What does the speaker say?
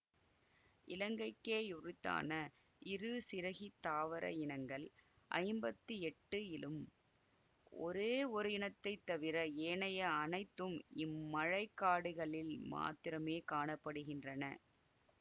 இலங்கைக்கே யுரித்தான இருசிறகித் தாவர இனங்கள் ஐம்பத்தி எட்டு இலும் ஒரேயொரு இனத்தைத் தவிர ஏனைய அனைத்தும் இம்மழைக்காடுகளில் மாத்திரமே காண படுகின்றன